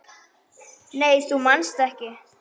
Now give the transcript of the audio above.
Nei þú manst ekki.